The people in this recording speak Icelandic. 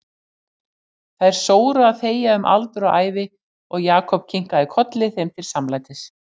Þær sóru að þegja um aldur og ævi og Jakob kinkaði kolli þeim til samlætis.